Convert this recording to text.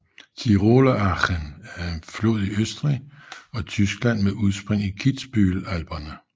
Tiroler Achen er en flod i Østrig og Tyskland med udspring i Kitzbühel Alperne